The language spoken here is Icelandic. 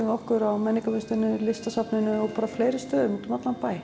við okkur á menningarmiðstöðinni og Listasafninu og fleiri stöðum úti um allan bæ